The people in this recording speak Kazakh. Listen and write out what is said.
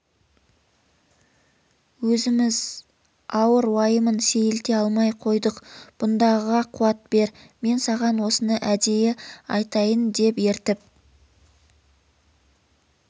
өзіміз ауыр уайымын сейілте алмай қойдық бұндағыға қуат бер мен саған осыны әдейі айтайын деп ертіп